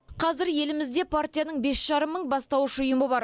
қазір елімізде партияның бес жарым мың бастауыш ұйымы бар